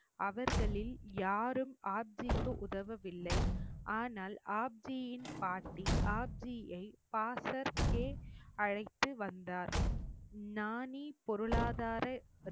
அவர்களில் யாரும் ஆப்ஜிக்கு உதவவில்லை ஆனால் ஆப்ஜியின் பாட்டி ஆப்ஜியை பாசக்கே அழைத்து வந்தார் நாணி பொருளாதார